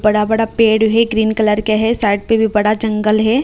बड़ा बड़ा पेड़ है ग्रीन कलर के है साइड पे भी बड़ा जंगल है।